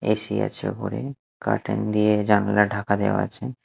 AC আছে ওপরে curtain দিয়ে জানালা ঢাকা দেওয়া আছে।